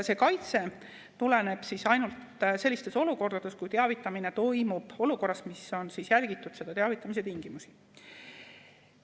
See kaitse tuleneb ainult sellistes olukordades, kui teavitamine toimub olukorras, kus on järgitud selle teavitamise tingimusi.